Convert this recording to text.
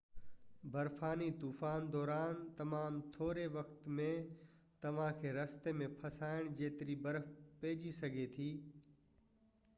برفاني طوفان دوران تمام ٿوري وقت ۾ توهانکي رستي ۾ ڦاسائڻ جيتري برف پئجي سگهي ٿي